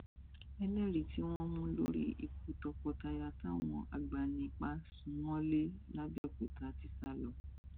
ẹlẹrìí tí wọn mú lórí ikú tọkọtaya táwọn agbanipa sún mọlé làbòkúta ti sá lọ